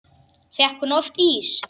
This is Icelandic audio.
Fékk hún oft ís?